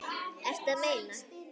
Ertu að meina?